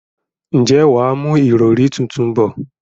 ǹjẹ́ wà á mú ìrọrí tuntun bọ̀?